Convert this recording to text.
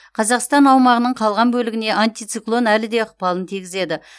қазақстан аумағының қалған бөлігіне антициклон әлі де ықпалын тигізеді